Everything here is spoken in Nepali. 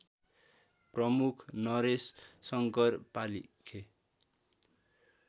प्रमुख नरेशशङ्कर पालिखे